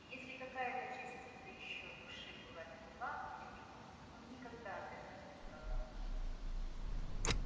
и если какая-то частица ещё души была мертва для него он никогда от этого не страдал